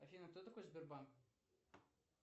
афина кто такой сбербанк